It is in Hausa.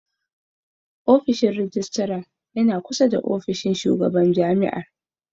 Ofishin Mai ragista yana ƙusa da ofishin mataimaƙin shugaɓan maƙaranta.